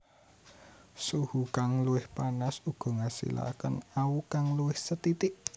Suhu kang luwih panas uga ngasilake awu kang luwih sethithik